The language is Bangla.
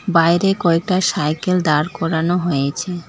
বাইরে কয়েকটা সাইকেল দাঁড় করানো হয়েছে।